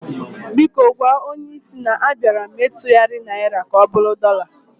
Biko gwa onyé isi na a bịara m ịtugharị Naịra m ka ọbụrụ dọla